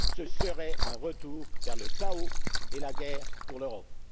Ce serait un retour vers le chaos et la guerre pour l'Europe.